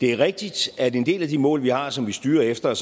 er rigtigt at en del af de mål vi har og som vi styrer efter